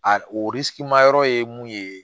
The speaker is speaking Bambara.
A yɔrɔ ye mun ye